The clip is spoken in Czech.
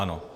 Ano.